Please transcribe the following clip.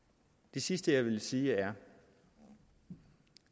det sidste jeg vil sige er